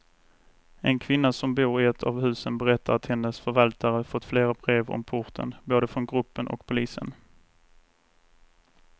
En kvinna som bor i ett av husen berättar att hennes förvaltare fått flera brev om porten, både från gruppen och polisen.